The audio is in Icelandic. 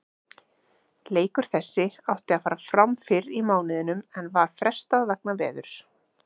Leikur þessi átti að fara fram fyrr í mánuðinum en var frestað vegna veðurs.